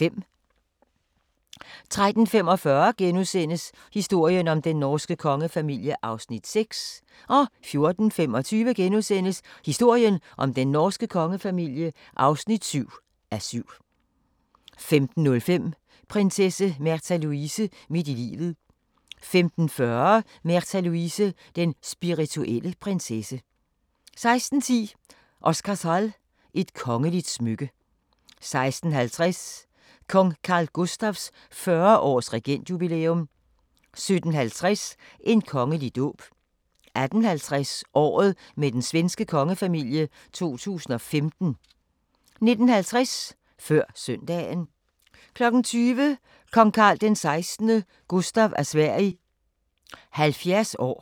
13:45: Historien om den norske kongefamilie (6:7)* 14:25: Historien om den norske kongefamilie (7:7)* 15:05: Prinsesse Märtha Louise – midt i livet 15:40: Märtha Louise – Den spirituelle prinsesse 16:10: Oscarshall – et kongeligt smykke 16:50: Kong Carl Gustafs 40 års regentjubilæum 17:50: En kongelig dåb 18:50: Året med den svenske kongefamilie 2015 19:50: Før søndagen 20:00: Kong Carl XVI Gustaf af Sverige 70 år